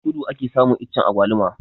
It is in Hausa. A kudu ake samun iccen agwaluma